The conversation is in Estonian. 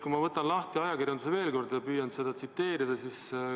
Ma võtan veel kord ajakirjanduse ette ja püüan seda tsiteerida.